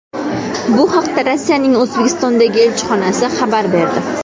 Bu haqda Rossiyaning O‘zbekistondagi elchixonasi xabar berdi .